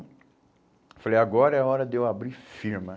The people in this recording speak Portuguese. Falei, agora é a hora de eu abrir firma.